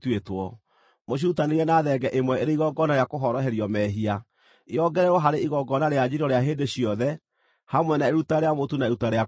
Mũcirutanĩrie na thenge ĩmwe ĩrĩ igongona rĩa kũhoroherio mehia, yongererwo harĩ igongona rĩa njino rĩa hĩndĩ ciothe, hamwe na iruta rĩa mũtu na iruta rĩa kũnyuuo.